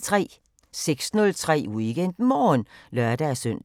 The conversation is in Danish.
06:03: WeekendMorgen (lør-søn)